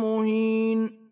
مُّهِينٌ